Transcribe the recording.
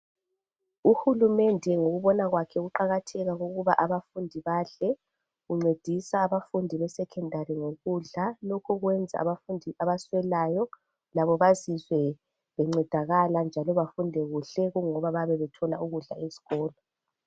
Uhulumende ngokubona mwakhe ukuqakatheka kokubana abantwana kumele bedle ungcedisa abafundi besecondary ngokudla lokhu kuyenza abaswelayo labo bazizwe bengcedakala njalo bafunde kuhle kungoba bayabe bethola ukudla esikolo